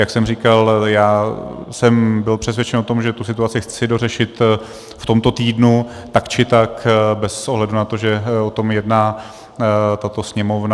Jak jsem říkal, já jsem byl přesvědčen o tom, že tu situaci chci dořešit v tomto týdnu tak či tak bez ohledu na to, že o tom jedná tato Sněmovna.